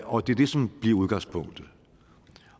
og det er det som bliver udgangspunktet